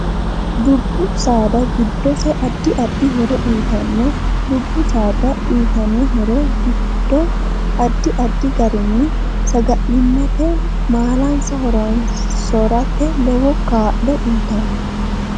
Dubbu saada giddose addi addi horo uyiitanno dubbu sada uyiitanno horo giddo addi addi garinni sagalimate maalansa horoonsorate lowo kaa'lo uyiitanno